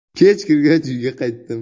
Kech kirgach uyga qaytdim.